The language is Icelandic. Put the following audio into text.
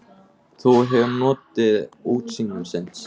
Þú hefur notið útsýnisins?